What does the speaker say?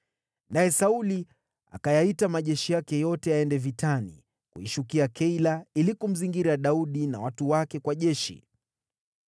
Naye Sauli akayaita majeshi yake yote yaende vitani, kuishukia Keila ili kumzingira Daudi na watu wake kwa jeshi.